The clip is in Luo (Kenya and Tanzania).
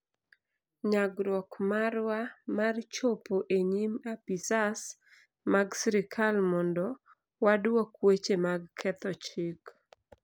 Nyagruok marwa mar chopo e nyim apisas mag sirkal mondo waduok weche mag ketho chik